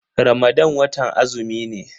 Ramadan watan azumi ne.